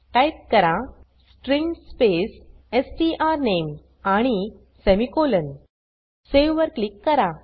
type करा string space स्ट्रानेम आणि सेमिकोलॉन सावे वर क्लिक करा